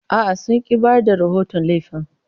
A'a, sun ƙi bayar da rahoton laifin.